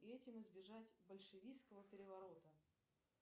и этим избежать большевистского переворота